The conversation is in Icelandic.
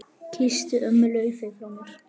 Kysstu ömmu Laufey frá mér.